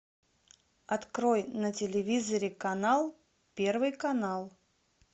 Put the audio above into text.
открой на телевизоре канал первый канал